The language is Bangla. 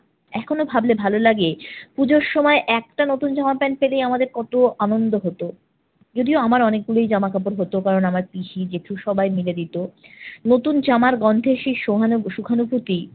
এখনো ভাবলে ভালো লাগে পূজোর সময় একটা নতুন জামা প্যান্ট পেলেই আমাদের কত আনন্দ হতো। যদিও আমার অনেকগুলোই জামা কাপড় হতো কারণ আমরা পিসি, জ্যেঠু সবাই মিলে দিত। নতুন জামার গন্ধের সে সহানুভূ~ সুখানুভূতি